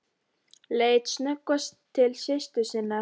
Leit sem snöggvast til systur sinnar.